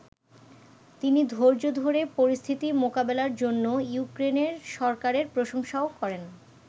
তিনি ধৈর্য ধরে পরিস্থিতি মোকাবেলার জন্য ইউক্রেনের সরকারের প্রশংসাও করেন।